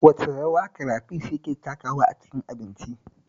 Wace rawa karafish yake takawa a cikin abinci?